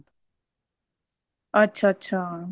ਅੱਛਾ ਅੱਛਾ